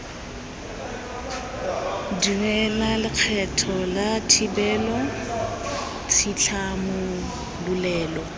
duela lekgetho la thibelo tshitlhamololelo